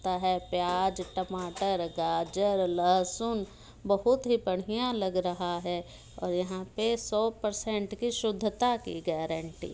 ता है प्याज टमाटर गाजर लहसुन बहुत ही बढ़ियाँ लग रहा है और यहाँ पे सौ परसेंट शुद्धता की गेरेंटी --